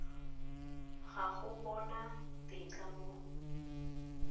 ga go bona tetla mo